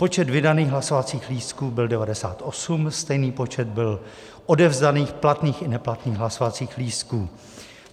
Počet vydaných hlasovacích lístků byl 98, stejný počet byl odevzdaných platných i neplatných hlasovacích lístků.